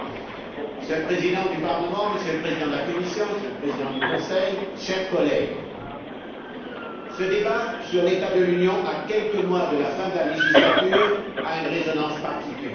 Monsieur le Président, Monsieur le Président de la Commission, Monsieur le Président du Conseil, chers collègues, ce débat sur l'état de l'Union, à quelques mois de la fin de la législature, a une résonance particulière.